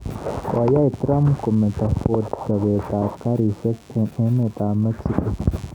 Koyai Trump kometo Ford chobeet ab karisyek eng emet ab Mexico